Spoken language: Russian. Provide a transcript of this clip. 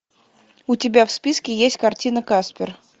у тебя в списке есть картина каспер